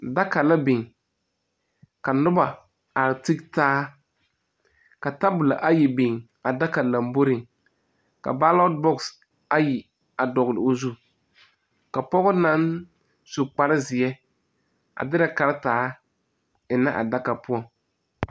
Daka la biŋ ka noba a tige taa ka tabolɔ ayi biŋ a daka lomboriŋ ka balɔte bɔx ayi a dɔgle o zu ka poge naŋ su kparezeɛ a dirɛ karetaa eŋnɛ a daka poɔŋ.